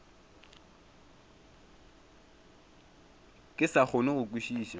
ke sa kgone go kwešiša